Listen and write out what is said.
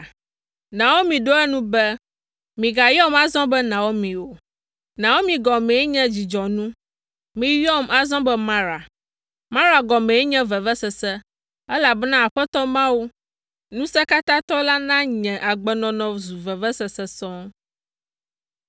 Naomi ɖo eŋu be, “Migayɔm azɔ be Naomi o. Naomi gɔmee nye dzidzɔnu. Miyɔm azɔ be Mara. Mara gɔmee nye vevesese, elabena Aƒetɔ Mawu, Ŋusẽkatãtɔ la na nye agbenɔnɔ zu vevesese sɔŋ.